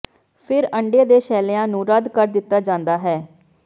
ਫਿਰ ਅੰਡੇ ਦੇ ਸ਼ੈਲੀਆਂ ਨੂੰ ਰੱਦ ਕਰ ਦਿੱਤਾ ਜਾਂਦਾ ਹੈ